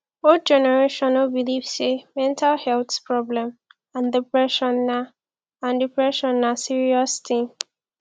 old generation no believe sey mental health problem and depression na and depression na serious thing